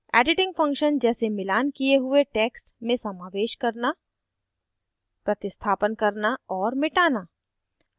editing function जैसे मिलान किये हुए text में समावेश करना प्रतिस्थापन करना और मिटाना